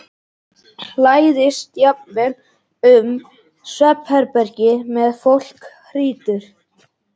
Læðist jafnvel um svefnherbergin meðan fólk hrýtur.